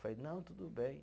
Falei, não, tudo bem.